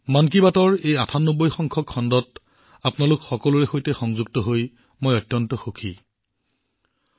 মন কী বাতৰ এই ৯৮ তম খণ্ডত আপোনালোক সকলোৰে সৈতে অংশগ্ৰহণ কৰি মই বহুত সুখী অনুভৱ কৰিছো